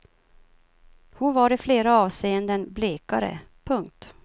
Hon var i flera avseenden blekare. punkt